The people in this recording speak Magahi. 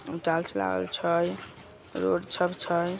टाइल्स लागल छै रोड सब छै।